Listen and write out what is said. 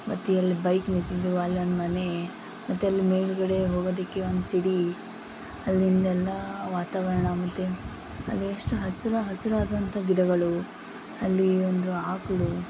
ಮತ್ತೆ ಇಲ್ಲಿ ಒಂದು ಬೈಕ್ ನಿಂತಿದ್ದು ಅಲ್ಲಿ ಒಂದು ಮನೆ ಮತ್ತೆ ಅಲ್ಲಿ ಮೇಲ್ಗಡೆ ಹೋಗೋದಿಕ್ಕೆ ಒಂದು ಸಿಡಿ ಅಲ್ಲಿಂದೆಲ್ಲಾ ವಾತಾವರಣ ಮತ್ತೆ ಅಲ್ಲಿ ಅಷ್ಟು ಹಸಿರು ಹಸಿರಾದಂಥ ಗಿಡಗಳು ಅಲ್ಲಿ ಒಂದು ಆಕಳು --